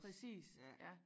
Præcis ja